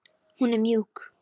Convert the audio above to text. Hún er mjúk.